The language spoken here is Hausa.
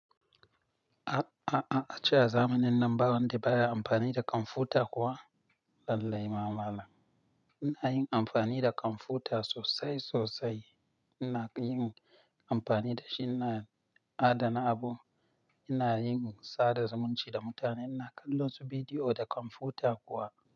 A-a-a-a ace a zamanin nan ba wanda baya amfani da kwamfuta kuwa? Lallaima malan. Ina yin amfani da kwamfuta sosai sosai. Ina yin amfani dashi, ina adana abu, ina yin sada zumunci da mutane, ina kallon su bidiyo da kwamfuta kuwa.